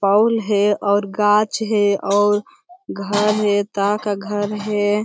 पोल है और गाछ है और घर है ता का घर है।